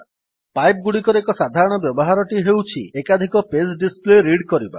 pipe ଗୁଡିକର ଏକ ସାଧାରଣ ବ୍ୟବହାରଟି ହେଉଛି ଏକାଧିକ ପେଜ୍ ଡିସ୍ପ୍ଲେ ରିଡ୍ କରିବା